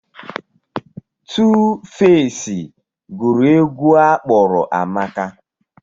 Tuufeci gụrụ egwu a kpọrọ Amaka.